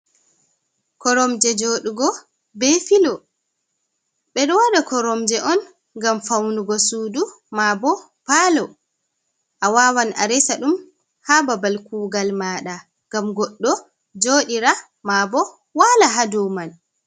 Koromje joɗugo be filo. Ɓe ɗo waɗa koromje on ngam faunugo suudu maa bo palo. A wawan a resa ɗum haa babal kugal maɗa ngam goɗɗo joɗira maa bo wala haa dow mai.